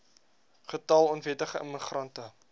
getal onwettige immigrante